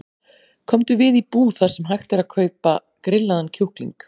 Komdu við í búð þar sem hægt er að kaupa grillaðan kjúkling.